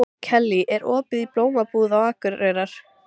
Kellý, er opið í Blómabúð Akureyrar?